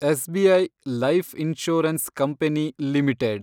SBI life insurance company limited